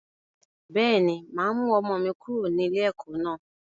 Bẹ́ẹ̀ni, máa mú ọmọ mi kúrò ní ilé ẹ̀kọ́ naa